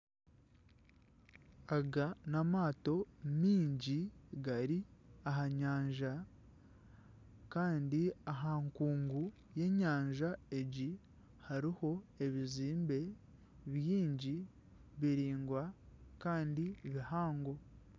Aga n'amaato miingi gari aha nyanja kandi aha nkuungu y'enyanja egi hariho ebizimbe biingi biringwa kandi bihango.